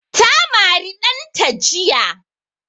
Ta mari ɗanta jiya